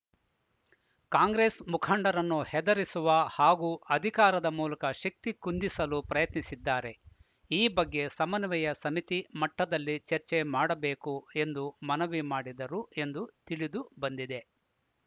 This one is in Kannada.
ಕಾಂಗ್ರೆಸ್‌ ಮುಖಂಡರನ್ನು ಹೆದರಿಸುವ ಹಾಗೂ ಅಧಿಕಾರದ ಮೂಲಕ ಶಕ್ತಿ ಕುಂದಿಸಲು ಪ್ರಯತ್ನಿಸಿದ್ದಾರೆ ಈ ಬಗ್ಗೆ ಸಮನ್ವಯ ಸಮಿತಿ ಮಟ್ಟದಲ್ಲಿ ಚರ್ಚೆ ಮಾಡಬೇಕು ಎಂದು ಮನವಿ ಮಾಡಿದರು ಎಂದು ತಿಳಿದುಬಂದಿದೆ